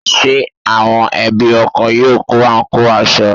Ṣé àwọn ẹbí ọkọ yóò kó àǹkóò aṣọ?